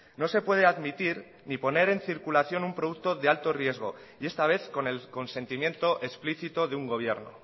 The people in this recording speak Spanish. no se puede admitir ni poner en circulación un producto de alto riesgo y esta vez con el consentimiento explícito de un gobierno